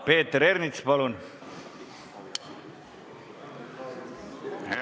Peeter Ernits, palun!